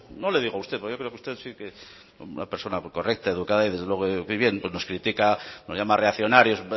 no le digo a usted porque yo creo que usted sí que es una persona muy correcta y educada y desde luego nos critica nos llama reaccionarios